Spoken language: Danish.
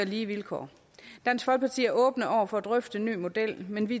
lige vilkår dansk folkeparti er åbne over for at at drøfte en ny model men vi